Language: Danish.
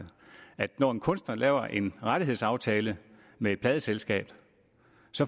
at når en kunstner laver en rettighedsaftale med et pladeselskab